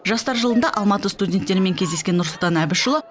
жастар жылында алматы студенттерімен кездескен нұрсұлтан әбішұлы